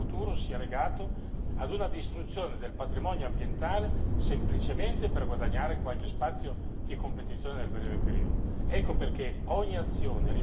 Non possiamo immaginare che il nostro futuro sia legato alla distruzione del patrimonio ambientale semplicemente per guadagnare spazi in termini di competizione nel breve periodo.